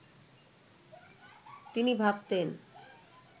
তিনি ভাবতেন